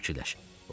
Özüm fikirləşirəm.